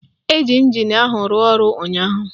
Ee, ịnjin ahụ rụrụ ọrụ ụnyaahụ